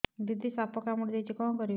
ଦିଦି ସାପ କାମୁଡି ଦେଇଛି କଣ କରିବି